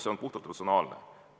Tegu on puhtalt personaalsete huvidega.